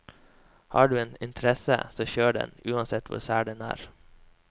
Har du en interesse, så kjør den, uansett hvor sær den er.